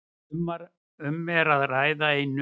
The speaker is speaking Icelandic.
Um er að ræða einu